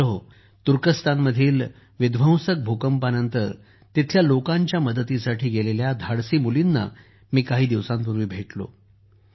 मित्रांनो तुर्कस्थानमधील विध्वंसक विनाशकारी भूकंपानंतर तिथल्या लोकांच्या मदतीसाठी गेलेल्या धाडसी मुलींना मी काही दिवसांपूर्वी भेटलो